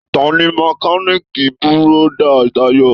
Tani mẹ̀kániikí búrọ̀da Tayo?